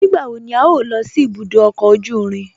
Nígbàwọ̀ ní à yọ́ò lọ sí ìbùdó ọkọ ojú ìrìn?